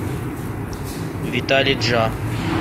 виталий джа